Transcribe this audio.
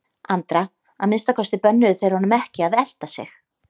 Andra, að minnsta kosti bönnuðu þeir honum ekki að elta sig.